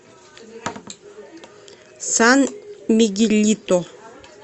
сан мигелито